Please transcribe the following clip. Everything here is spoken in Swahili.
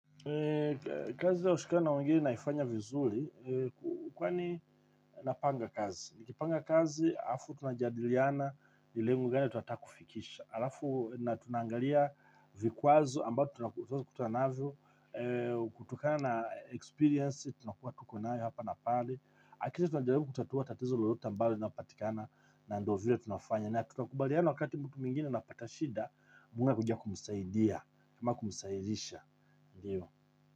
Kazi ya lakushikana na wengine naifanya vizuri. Kwani napanga kazi. Nikipanga kazi, alafu tunajadiliana nilengo gani tunataka kufikisha. Alafu na tunangalia vikwazo ambao tunakutafuwa naavyo. Kutokana na experience tunakuwa tukunayo hapa napale. Akisha tunajarubu kutatua tatizo lolota ambalo linapatikana na ndio vile tunafanya na tunakubaliana wakati mtu mwingine anapatashida tunakuja kumsaidia ama kumsaidisha ndio.